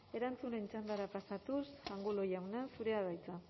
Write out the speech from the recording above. erantzunen txandara pasatuz angulo jauna zurea da hitza